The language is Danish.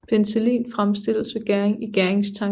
Penicillin fremstilles ved gæring i gæringstanke